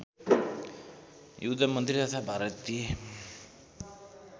युद्धमन्त्री तथा भारतीय